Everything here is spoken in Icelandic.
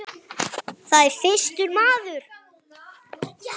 Já, það er þyrstur maður.